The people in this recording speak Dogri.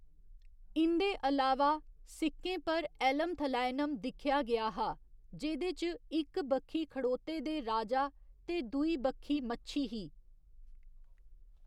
इं'दे अलावा, सिक्कें पर 'एल्लमथलैयनम' दिक्खेआ गेआ हा, जेह्‌‌‌दे च इक बक्खी खड़ोते दे राजा ते दूई बक्खी मच्छी ही।